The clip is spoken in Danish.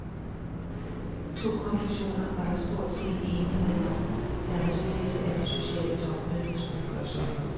To konklusioner var der stort set enighed om, da resultatet af det sociale topmøde skulle gøres op.